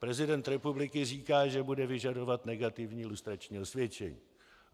Prezident republiky říká, že bude vyžadovat negativní lustrační osvědčení.